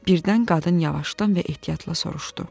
Birdən qadın yavaşdan və ehtiyatla soruşdu.